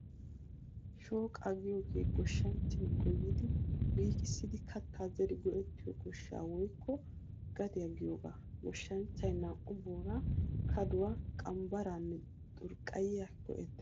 Shooqaa giyoogee goshshanchchay goyyidi liiqissidi kattaa zeri go'ettiyo goshshaa woykko gadiyaa giyoogaa. Goshshanchchay naa"u booraa, kaduwaa , qmbbaraanne xurqqayyiyaa go'ettees.